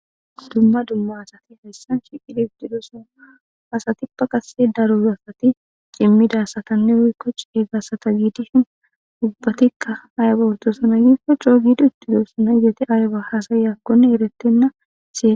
Dumma dumma asati hayssan shiqidi huftidosana asatippa qase daro asati cimmida satanne woykkoc e gasata giidishin ubbatikka ayaba ortosana yikkoc co giidi ittido sana yete ayba hasayekkone eretenna siee